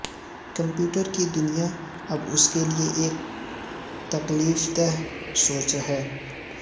computer کی دنیا اب اس کے لئے ایک تکلیفدہ سوچ ہے